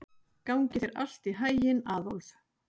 Gangi þér allt í haginn, Aðólf.